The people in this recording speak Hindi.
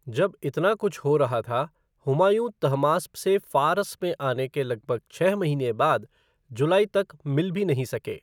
जब इतना कुछ हो रहा था, हुमायूँ तहमास्प से फ़ार्स में आने के लगभग छह महीने बाद, जुलाई तक मिल भी नहीं सके।